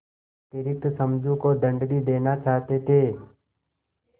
अतिरिक्त समझू को दंड भी देना चाहते थे